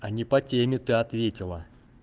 а не по теме ты ответила